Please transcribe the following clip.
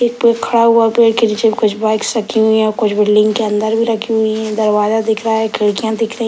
एक पेड़ खड़ा हुआ पेड़ के नीचे में कुछ बाइक्स रखी हुई है कुछ बिल्डिंग के अंदर भी रखी हुई हैं | दरवाजा दिख रहा है खिड़कियाँ दिख रही --